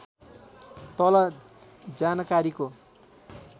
तल जानकारीको